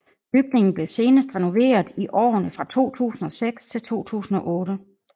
Bygningen blev senest renoveret i årene fra 2006 til 2008